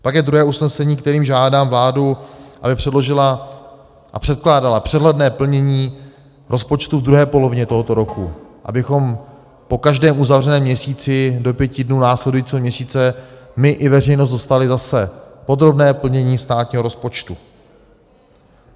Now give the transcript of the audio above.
Pak je druhé usnesení, kterým žádám vládu, aby předložila a předkládala přehledné plnění rozpočtu v druhé polovině tohoto roku, abychom po každém uzavřeném měsíci do pěti dnů následujícího měsíce my i veřejnost dostali zase podrobné plnění státního rozpočtu.